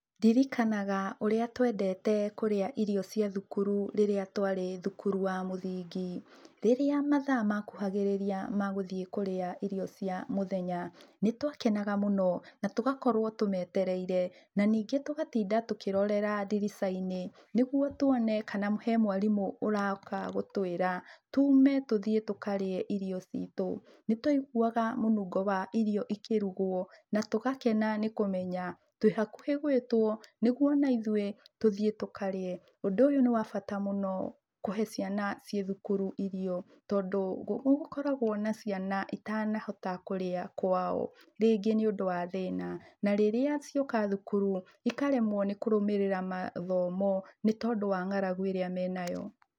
Ndirikanaga ũrĩa twendete kũrĩa irio cia thukuru rĩrĩa twarĩ thukuru wa mũthingi. Rĩrĩ mathaa makuhagĩrĩria ma gũthiĩ kũrĩa irio cia mũthennya, nĩtwakenaga mũno na tũgakorwo tũmetereire, na ningĩ tũgatinda tũkĩrorera ndirica-inĩ, nĩguo tuone kana he mwarimũ ũroka gũtwĩra, tume tũthiĩ tũkarĩe irio citũ. Nĩtwaiguaga mũnungo wa irio ikĩrugwo, na tũgakena nĩkũmenya twĩhakuhĩ gwĩtwo, nĩguo onaithuĩ tũthiĩ tũkarĩe. Ũndũ ũyũ nĩ wabata mũno kũhe ciana ciĩthukuru irio, tondũ nĩgũkoraqwo na ciana itanahota kũrĩa kwao, rĩngĩ nĩũndũ wa thĩna, na rĩrĩa cioka thukuru, ikaremwo nĩkũrũmĩrĩra mathomo nĩtondũ wa ng'aragu ĩrĩa menayo.